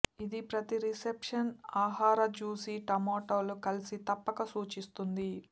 ఇది ప్రతి రిసెప్షన్ ఆహార జూసీ టమోటాలు కలిసి తప్పక సూచిస్తుంది